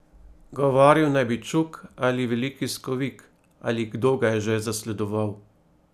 Govoril naj bi čuk ali veliki skovik ali kdo ga je že zasledoval.